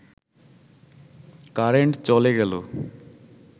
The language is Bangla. কারেন্ট চলে গেল